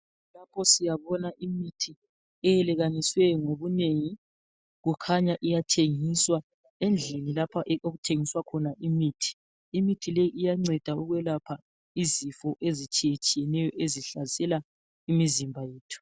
Lapho siyabona imithi eyelekanisiweyo ngobunengi. Kukhanya iyathengiswa. Endlini lapha yikho okuthengiswa khona imithi. Imithi le iyanceda ukwelapha izifo ezitshiyetshiyeneyo ezihlasela imizimba yethu.